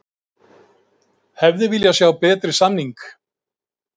Hefði viljað sjá betri samning